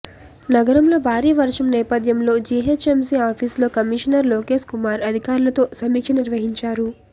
నగరంలో భారీ వర్షం నేపథ్యంలో జీహెచ్ఎంసీ ఆఫీసులో కమిషనర్ లోకేశ్ కుమార్ అధికారులతో సమీక్ష నిర్వహించారు